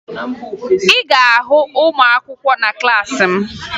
Ị ga-ahụ ụmụakwụkwọ na klaasị m